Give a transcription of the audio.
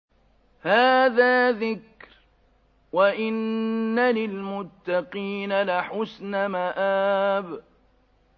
هَٰذَا ذِكْرٌ ۚ وَإِنَّ لِلْمُتَّقِينَ لَحُسْنَ مَآبٍ